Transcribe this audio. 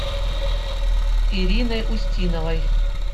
ириной устиновой